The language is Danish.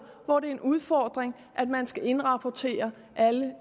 hvor det er en udfordring at man skal indrapportere alle